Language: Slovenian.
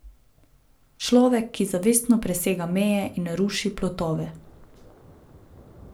Človek, ki zavestno presega meje in ruši plotove.